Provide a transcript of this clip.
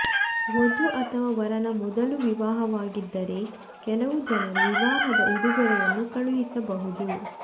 ವಧು ಅಥವಾ ವರನ ಮೊದಲು ವಿವಾಹವಾಗಿದ್ದರೆ ಕೆಲವು ಜನರು ವಿವಾಹದ ಉಡುಗೊರೆಯನ್ನು ಕಳುಹಿಸಬಹುದು